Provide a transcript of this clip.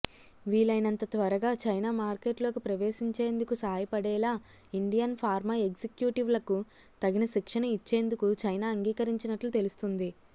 వీలైనంత త్వరగా చైనా మార్కెట్లోకి ప్రవేశించేందుకు సాయపడేలా ఇండియన్ ఫార్మా ఎగ్జిక్యూటివ్లకు తగిన శిక్షణ ఇచ్చేందుకు చైనా అంగీకరించినట్లు తెలుస్తోంది